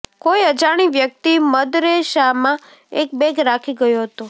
કોઈ અજાણી વ્યક્તિ મદરેસામાં એક બેગ રાખી ગયો હતો